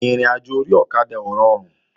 Ìrìnàjò orí ọ̀kadà ò rọrùn